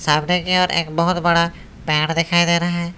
सामने कि ओर एक बहुत बड़ा पेड़ दिखाई दे रहा है।